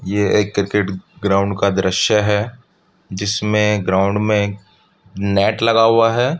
ये एक cricket ground का दृश्‍य है। जिसमें ग्राउंड में नेट लगा हुआ है।